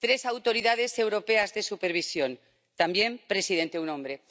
Tres Autoridades Europeas de Supervisión también presidente un hombre.